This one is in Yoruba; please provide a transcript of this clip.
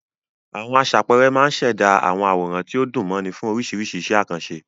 Àwọn aṣàpẹẹrẹ máa ń ṣẹ̀dá àwòrán tí ó dùn mọ́ni fún oríṣiríṣi iṣẹ́ àkànṣe.